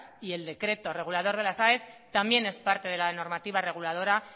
y el decreto regulador de las aes también es parte de la normativa reguladora